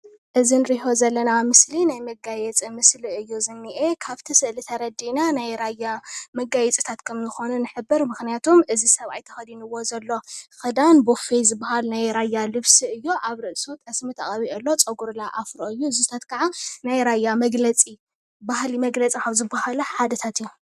እዚ እንሪኦ ዘለና ምስሊ ናይ መጋየፂ ምስሊ እዩ ዝኒአ ፡፡ ካብቲ ስእሊ ተረዲእና ናይ ራያ መጋየፂታት ከምዝኾኑ ንሕብር፡፡ ምክንያቱ እዚ ሰብአይ ተኸዲንዎ ዘሎ ክዳን ቦፌ ዝበሃል ናይ ራያ ልብሲ እዩ፡፡ አብ ርእሱ ጠስሚ ተቐቢኡ አሎ፡፡ ፀጉሩ ለ አፍሮ እዩ፡፡ እዚታት ከዓ ናይ ራያ መግለፂ ባህሊ መግለፂ ካብ ዝበሃሉ ሓደታት እዮም፡፡